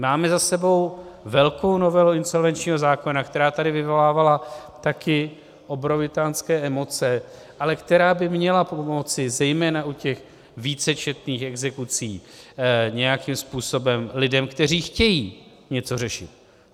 Máme za sebou velkou novelu insolvenčního zákona, která tady vyvolávala taky obrovitánské emoce, ale která by měla pomoci zejména u těch vícečetných exekucí nějakým způsobem lidem, kteří chtějí něco řešit.